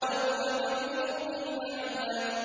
وَهُوَ بِالْأُفُقِ الْأَعْلَىٰ